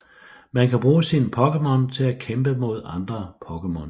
Man kan bruge sine Pokémon til at kæmpe mod andre Pokémon